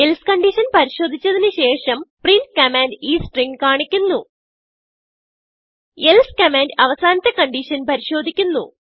else condition പരിശോദിച്ചതിന് ശേഷം print command ഈ stringകാണിക്കുന്നു elseകമാൻഡ് അവസാനത്തെ കൺഡിഷൻ പരിശോദിക്കുന്നു